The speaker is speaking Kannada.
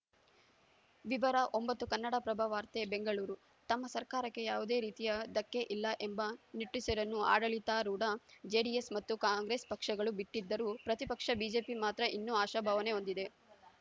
ವಿವರ ಒಂಬತ್ತು ಕನ್ನಡಪ್ರಭ ವಾರ್ತೆ ಬೆಂಗಳೂರು ತಮ್ಮ ಸರ್ಕಾರಕ್ಕೆ ಯಾವುದೇ ರೀತಿಯ ಧಕ್ಕೆ ಇಲ್ಲ ಎಂಬ ನಿಟ್ಟುಸಿರನ್ನು ಆಡಳಿತಾರೂಢ ಜೆಡಿಎಸ್‌ ಮತ್ತು ಕಾಂಗ್ರೆಸ್‌ ಪಕ್ಷಗಳು ಬಿಟ್ಟಿದ್ದರೂ ಪ್ರತಿಪಕ್ಷ ಬಿಜೆಪಿ ಮಾತ್ರ ಇನ್ನೂ ಆಶಾಭಾವನೆ ಹೊಂದಿದೆ